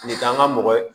Nin k'an ka mɔgɔ ye